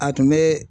A tun bɛ